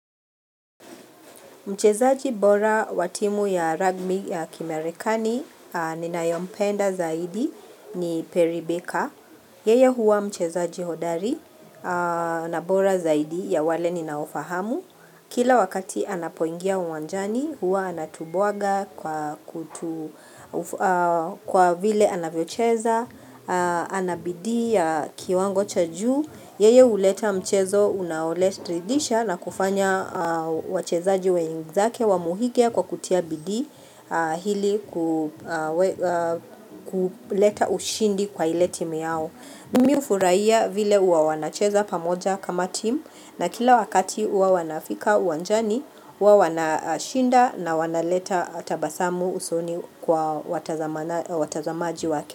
Mchezaji bora wa timu ya ragbi ya Kimarekani ninayempenda zaidi ni Perry Baker. Yeye huwa mchezaji hodari na bora zaidi ya wale ninaowafahamu. Kila wakati anapoingia uwanjani huwa anatubwaga. Kwa vile anavyocheza, ana bidii ya kiwango cha juu Yeye huleta mchezo unaoridhisha na kufanya wachezaji wenzake wamuhimike kwa kutia bidii hili kuleta ushindi kwa ile timu yao. Mimi hufurahia vile huwa wanacheza pamoja kama timu na kila wakati huwa wanapofika uwanjani, wanashinda na wanaleta tabasamu usoni kwa watazamaji wao.